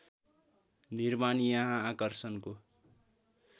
निर्माण यहाँ आकर्षणको